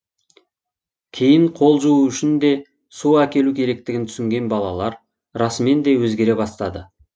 кейін қол жуу үшін де су әкелу керектігін түсінген балалар расымен де өзгере бастады